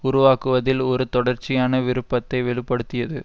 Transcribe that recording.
உருவாக்குவதில் ஒரு தொடர்ச்சியான விருப்பத்தை வெளி படுத்தியது